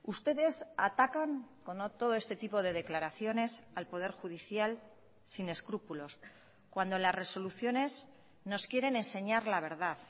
ustedes atacan con todo este tipo de declaraciones al poder judicial sin escrúpulos cuando las resoluciones nos quieren enseñar la verdad